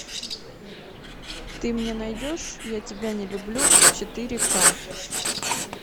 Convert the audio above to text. ты мне найдешь я тебя не люблю четыре ка